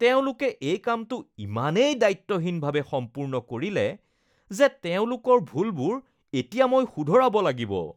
তেওঁলোকে এই কামটো ইমানেই দায়িত্বহীনভাৱে সম্পূৰ্ণ কৰিলে যে তেওঁলোকৰ ভুলবোৰ এতিয়া মই শুধৰাব লাগিব।